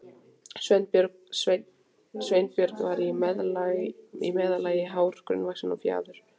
Sveinbjörn var í meðallagi hár, grannvaxinn og fjaður